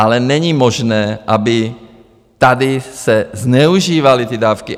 Ale není možné, aby se tady zneužívaly ty dávky.